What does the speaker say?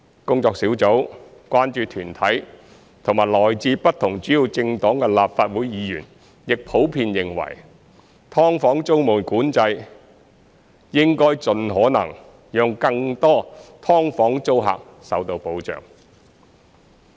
工作小組、關注團體和來自不同主要政黨的立法會議員亦普遍認為，"劏房"租務管制應盡可能讓更多"劏房"租客受到保障。